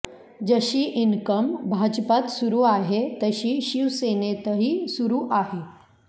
जशी इनकमिंग भाजपात सुरु आहे तशी शिवसेनेरही सुरु आहे